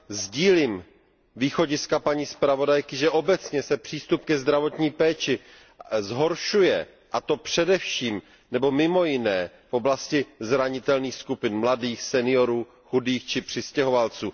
Sdílím východiska paní zpravodajky, že obecně se přístup ke zdravotní péči zhoršuje, a to především nebo mimo jiné v oblasti zranitelných skupin mladých, seniorů, chudých či přistěhovalců.